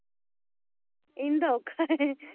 ਇੰਨ ਦਾ ਔਖਾ ਹੈ